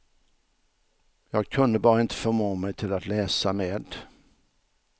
Jag kunde bara inte förmå mig till att läsa med.